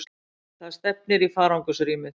Það stefnir í farangursrýmið.